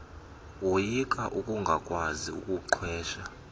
woyika ukungakwazi kuqhwesha